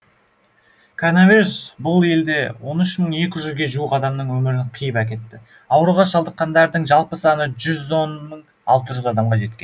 коронавирус бұл елде он үш мың екі жүзге жуық адамның өмірін қиып әкетті ауруға шалдыққандардың жалпы саны жүз он мың алты жүз адамға жеткен